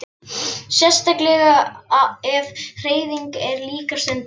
Sérstaklega ef hreyfing er líka stunduð.